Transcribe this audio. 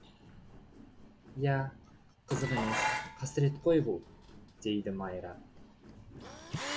иә қызық емес қасірет қой бұл дейді майра